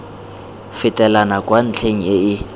fetelang kwa ntlheng e e